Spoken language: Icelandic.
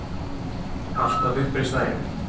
Alltaf uppreisn æru.